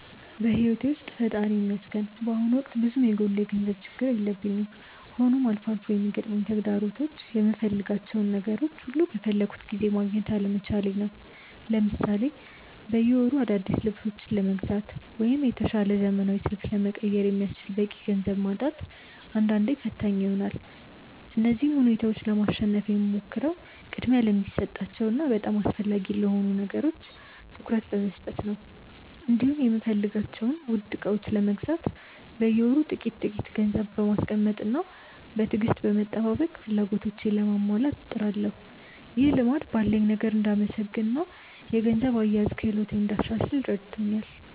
በሕይወቴ ውስጥ ፈጣሪ ይመስገን በአሁኑ ወቅት ብዙም የጎላ የገንዘብ ችግር የለብኝም፤ ሆኖም አልፎ አልፎ የሚገጥሙኝ ተግዳሮቶች የምፈልጋቸውን ነገሮች ሁሉ በፈለግኩት ጊዜ ማግኘት አለመቻሌ ነው። ለምሳሌ በየወሩ አዳዲስ ልብሶችን ለመግዛት ወይም የተሻለ ዘመናዊ ስልክ ለመቀየር የሚያስችል በቂ ገንዘብ ማጣት አንዳንዴ ፈታኝ ይሆናል። እነዚህን ሁኔታዎች ለማሸነፍ የምሞክረው ቅድሚያ ለሚሰጣቸው እና በጣም አስፈላጊ ለሆኑ ነገሮች ትኩረት በመስጠት ነው፤ እንዲሁም የምፈልጋቸውን ውድ ዕቃዎች ለመግዛት በየወሩ ጥቂት ጥቂት ገንዘብ በማስቀመጥና በትዕግስት በመጠባበቅ ፍላጎቶቼን ለማሟላት እጥራለሁ። ይህ ልማድ ባለኝ ነገር እንድመሰገንና የገንዘብ አያያዝ ክህሎቴን እንዳሻሽል ረድቶኛል።